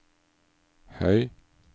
høy